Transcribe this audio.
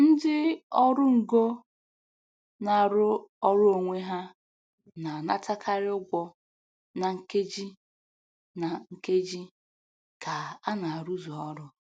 Ndị ọrụ ngo na-arụ ọrụ onwe ha na-anatakarị ugwo na nkeji na nkeji ka a na-arụzu ọrụ.